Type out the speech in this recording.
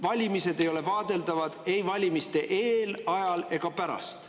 Valimised ei ole vaadeldavad ei valimiste eel, ajal ega pärast.